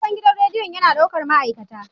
Sabon gidan rediyon yana ɗaukar ma'aikata.